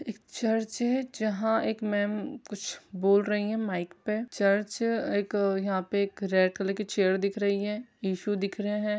एक चर्च है जहां एक मैम कुछ बोल रही हैं माइक पे चर्च एक यहां पे एक रेड कलर की चेयर दिख रही हैं टिसू दिख रहे हैं ।